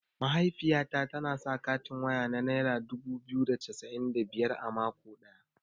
Mahaifiyata tana sa katin waya na naira dubu biyu da cassa'in da biyar a mako ɗaya.